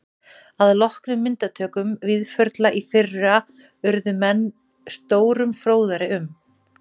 Að loknum myndatökum Víðförla í fyrra urðu menn stórum fróðari um